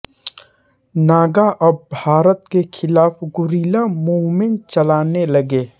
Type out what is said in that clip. नागा अब भारत के ख़िलाफ़ गुरिल्ला मूवमेंट चलाने लगे